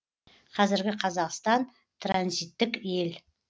қазіргі қазақстан транзиттік ел